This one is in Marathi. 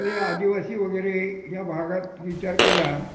तर हे आदिवाशी लोक वगैरे हे ह्या भागात विचार केला